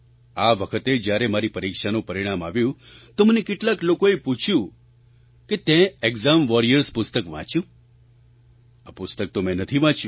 આ વખતે જ્યારે મારી પરીક્ષાનું પરિણામ આવ્યું તો મને કેટલાક લોકોએ પૂછ્યું કે તેં એક્ઝામ વૉરિયર્સ પુસ્તક વાંચ્યું આ પુસ્તક તો મેં નથી વાંચ્યું